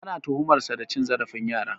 Ana tuhumar sa da cin zarafin yara.